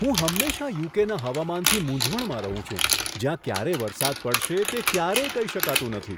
હું હંમેશા યુ.કે.ના હવામાનથી મૂંઝવણમાં રહું છું જ્યાં ક્યારે વરસાદ પડશે તે ક્યારેય કહી શકાતું નથી.